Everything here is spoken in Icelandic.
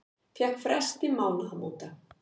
Fékk frest til mánaðamóta